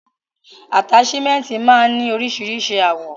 Ataṣimẹnti máa n ni oríṣiríṣi àwọ̀.